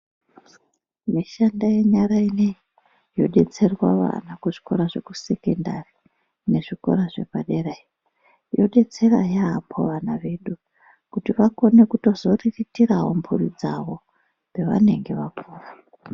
Mishando yenyara inoiyi yobetserwa vana kuzvikora zvekusekendari nezvikora zvepadera iyo. Yobetsera yaambo vana vedu kuti vakone kutozoriritiravo mhuri dzavo pavanenge vapuva.